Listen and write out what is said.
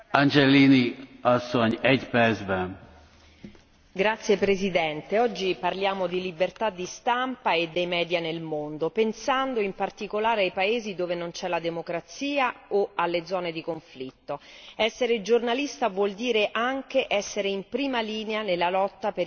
Signor Presidente, onorevoli colleghi, oggi parliamo di libertà di stampa e dei media nel mondo, pensando in particolare ai paesi dove non c'è la democrazia o alle zone di conflitto. Essere giornalista vuol dire anche essere in prima linea nella lotta per i diritti umani,